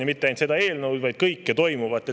Ja mitte ainult seda eelnõu, vaid kõike toimuvat.